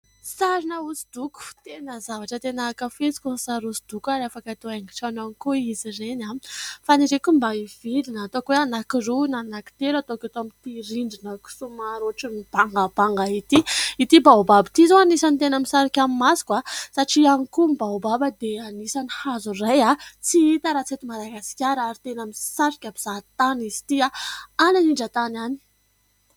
Sarina hosodoko tena zavatra tena ankafiziko ny sary hosodoko ary afaka atao haingon-trano ihany koa izy ireny, faniriako mba hividy na ataoko hoe anakiroa na anankitelo ataoko eto amin'ity rindrinako somary ohatran'ny bangabanga ity. Ity izao baobaba ity izao anisan'ny tena misarika ny masoko, satria ihany koa ny baobaba dia anisan'ny hazo iray tsy hita raha tsy eto Madagasikara ary tena misarika mpizaha tany izy ity any anindran-tany any.